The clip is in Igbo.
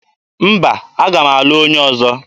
Mba, aga m alụ onye ọzọ.